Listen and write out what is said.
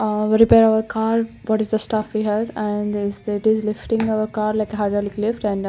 aa repairing a car that is the stuff here and that there is lifting car like a hydraulic lift and then --